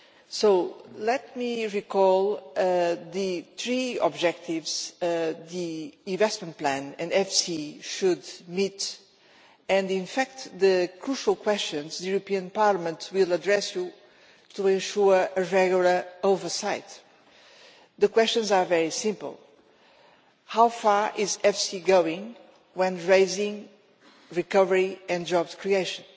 So let me recall the three objectives the investment plan and EFSI should meet and, in fact, the crucial questions the European Parliament will address to you to ensure a regular oversight. The questions are very simple. How far is EFSI going in raising recovery and job creation?